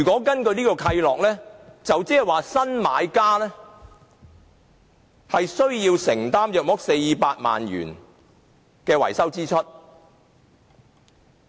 根據此契諾，新買家要承擔約400萬元的維修支出。